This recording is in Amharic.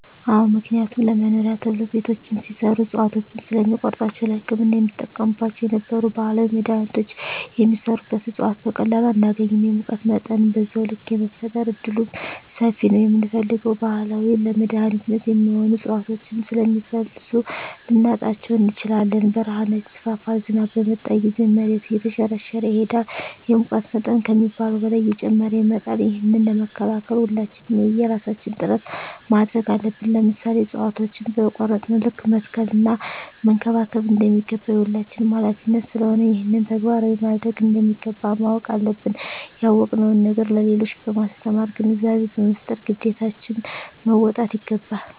አዎ ምክንያቱም ለመኖሪያ ተብሎ ቤቶች ሲሰሩ እፅዋቶችን ስለሚቆርጧቸዉ ለህክምና የምንጠቀምባቸው የነበሩ ባህላዊ መድሀኒቶች የሚሰሩበት እፅዋት በቀላሉ አናገኝም የሙቀት መጠንም በዛዉ ልክ የመፈጠር እድሉምሰፊ ነዉ የምንፈልገዉን ባህላዊ ለመድኃኒትነት የሚሆኑ እፅዋቶችን ስለሚፈልሱ ልናጣቸዉ እንችላለን በረሀነት ይስፋፋል ዝናብ በመጣ ጊዜም መሬቱ እየተሸረሸረ ይሄዳል የሙቀት መጠን ከሚባለዉ በላይ እየጨመረ ይመጣል ይህንን ለመከላከል ሁላችንም የየራሳችን ጥረት ማድረግ አለብን ለምሳሌ እፅዋቶችን በቆረጥን ልክ መትከል እና መንከባከብ እንደሚገባ የሁላችንም ሀላፊነት ስለሆነ ይህንን ተግባራዊ ማድረግ እንደሚገባ ማወቅ አለብን ያወቅነዉን ነገር ለሌሎች በማስተማር ግንዛቤ በመፍጠር ግዴታችን መወጣት ይገባል